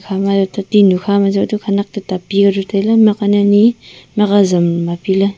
ama ja te tinu kha ma jau te khanak toita pika dau taile mihk hok ani ani mikh hok azam mapi le.